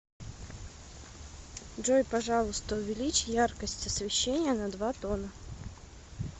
джой пожалуйста увеличь яркость освещения на два тона